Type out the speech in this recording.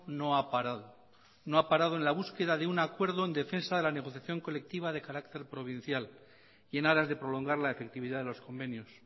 no ha parado no ha parado en la búsqueda de un acuerdo en defensa de la negociación colectiva de carácter provincial y en aras de prolongar la efectividad de los convenios